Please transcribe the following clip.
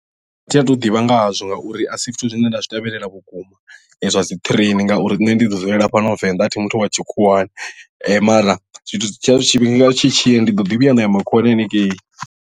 A thi athu ḓivha ngahazwo ngauri a si zwithu zwine nda zwi tevhelela vhukuma zwa dzi train ngauri nṋe ndi ḓi dzulela fhano venḓa a thi muthu wa tshikhuwani mara zwithu tshiya tshifhinga tshi tshi ya ndi ḓo ḓi vhuya nda ya makhuwani hanengei.